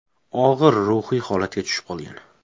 Og‘ir ruhiy holatga tushib qolgan.